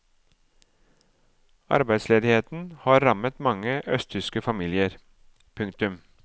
Arbeidsledigheten har rammet mange østtyske familier. punktum